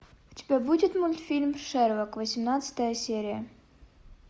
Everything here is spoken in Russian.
у тебя будет мультфильм шерлок восемнадцатая серия